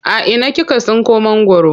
A ina kika tsinko mangwaro?